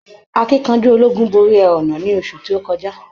Akínkanjú ológun borí ẹhọ̀nà ní oṣù tó kọjá.